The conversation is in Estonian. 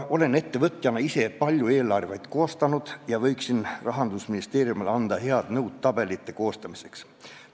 Olen ettevõtjana ise palju eelarveid koostanud ja võiksin Rahandusministeeriumile tabelite koostamiseks head nõu anda.